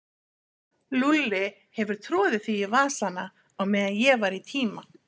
Lúlli hefur troðið því í vasana á meðan ég var í tíma.